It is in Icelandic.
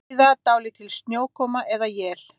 Víða dálítil snjókoma eða él